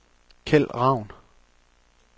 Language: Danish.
Kjeld Ravn